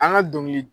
An ka dɔnkili